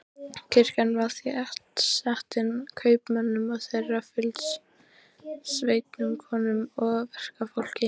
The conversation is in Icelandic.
Kirkjan var þéttsetin kaupmönnum og þeirra fylgisveinum, konum og verkafólki.